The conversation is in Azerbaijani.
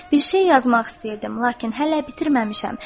"Bir şey yazmaq istəyirdim, lakin hələ bitirməmişəm.